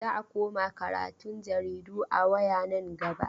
Za a koma karatun jaridu a waya nan gaba.